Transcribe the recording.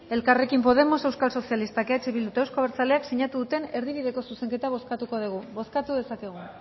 elkarrekin podemos euskal sozialistak eh bildu eta euzko abertzaleak sinatu duten erdibideko zuzenketa bozkatuko dugu bozkatu dezakegu